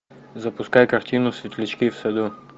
запускай картину светлячки в саду